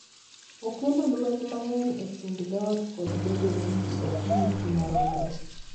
Okelo lweny mang’eny e kind dhoot kod bedo ni ji ok yuti maromre .